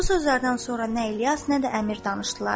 Bu sözlərdən sonra nə İlyas, nə də əmir danışdılar.